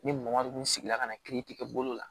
Ni mɔgɔ dun sigila ka na kiiri tigɛ bolo la